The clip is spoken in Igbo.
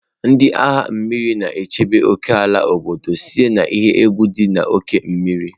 Ndị agha mmiri na-echebe ókèala obodo site na iyi egwu dị n'oké osimiri.